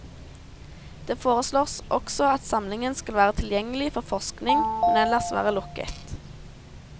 Det foreslås også at samlingen skal være tilgjengelig for forskning, men ellers være lukket.